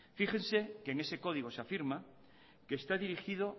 fíjense que en ese código se afirma que está dirigido